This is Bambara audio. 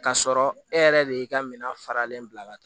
K'a sɔrɔ e yɛrɛ de y'i ka minɛn faralen bila ka taa